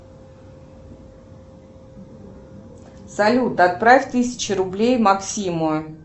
салют отправь тысячу рублей максиму